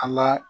An ka